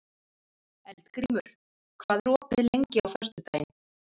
Eldgrímur, hvað er opið lengi á föstudaginn?